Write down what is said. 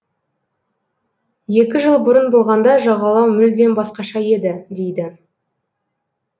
екі жыл бұрын болғанда жағалау мүлдем басқаша еді дейді